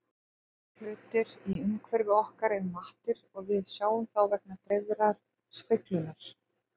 Flestir hlutir í umhverfi okkar eru mattir og við sjáum þá vegna dreifðrar speglunar.